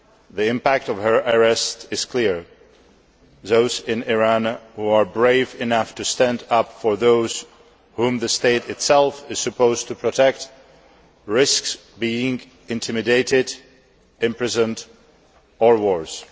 The impact of her arrest is clear those in Iran who are brave enough to stand up for those whom the state itself is supposed to protect risk being intimidated, imprisoned or worse.